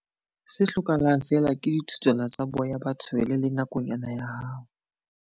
Se hlokahalang feela ke dithutswana tsa boya ba tshwele le nakonyana ya hao.